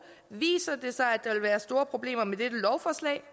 viser det sig at være store problemer med dette lovforslag